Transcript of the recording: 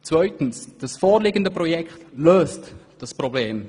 Zweitens löst das vorliegende Projekt dieses Problem.